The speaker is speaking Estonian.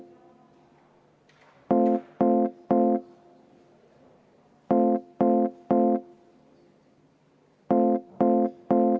Aitäh!